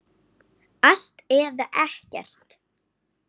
Allt eða ekkert.